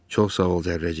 Çox sağ ol, Zərrəcik,